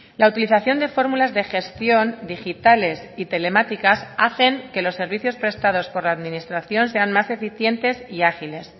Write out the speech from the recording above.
la utilización de fórmulas de gestión digitales y telemáticas hacen que los servicios prestados por la administración sean más eficientes y ágiles